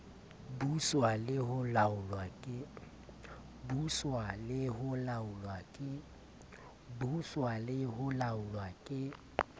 buswa le ho laolwa ke